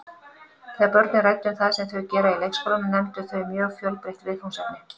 Þegar börnin ræddu um það sem þau gera í leikskólanum nefndu þau mjög fjölbreytt viðfangsefni.